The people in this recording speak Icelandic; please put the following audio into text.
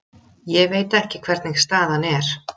Ég veit ekki hvernig staðan er.